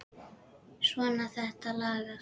Svona, þetta lagast